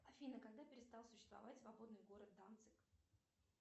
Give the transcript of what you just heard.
афина когда перестал существовать свободный город данциг